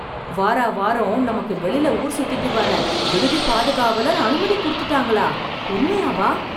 வார வாரம் நமக்கு வெளில ஊர் சுத்திட்டு வர விடுதி பாதுகாவலர் அனுமதி கொடுத்துட்டாங்களா, உண்மையாவா??